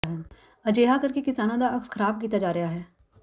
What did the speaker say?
ਅਜਿਹਾ ਕਰਕੇ ਕਿਸਾਨਾਂ ਦਾ ਅਕਸ ਖਰਾਬ ਕੀਤਾ ਜਾ ਰਿਹਾ ਹੈ